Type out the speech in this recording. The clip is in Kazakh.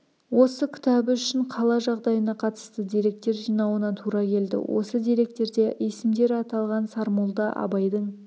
осы кітабы үшін қала жағдайына қатысты деректер жинауына тура келді осы деректерде есімдері аталған сармолда абайдың